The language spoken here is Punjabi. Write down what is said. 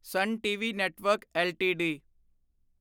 son TV network LTD